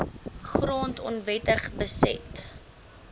grond onwettig beset